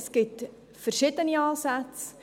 Es gibt verschiedene Ansätze.